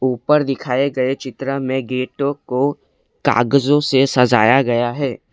ऊपर दिखाए गए चित्र में गेटों को कागजों से सजाया गया है।